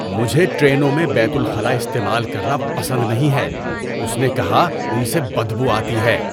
مجھے ٹرینوں میں بیت الخلا استعمال کرنا پسند نہیں ہے، اس نے کہا، "ان سے بدبو آتی ہے"